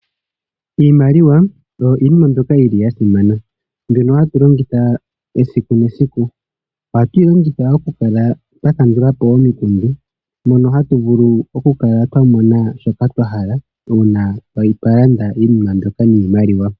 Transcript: Iimaliwa oyo iinima mbyoka yili yasimana. Mbyono hatu longitha esiku nesiku ohatu yi longitha oku kala twa kandulapo omiikundu. Mono hatu vulu oku kala twa mona shoka twahala una twa landa iinima mbyoka niimaliwa.